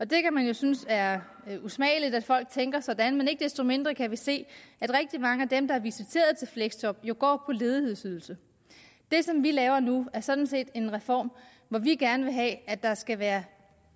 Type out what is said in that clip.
det kan man jo synes er usmageligt altså at folk tænker sådan men ikke desto mindre kan vi se at rigtig mange af dem der er visiteret til fleksjob går på ledighedsydelse det som vi laver nu er sådan set en reform hvor vi gerne vil have at der skal være